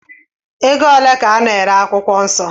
Ego ole ka a na-ere akwụkwọ nsọ?